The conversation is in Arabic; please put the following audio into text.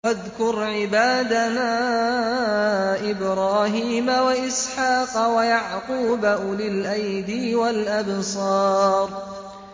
وَاذْكُرْ عِبَادَنَا إِبْرَاهِيمَ وَإِسْحَاقَ وَيَعْقُوبَ أُولِي الْأَيْدِي وَالْأَبْصَارِ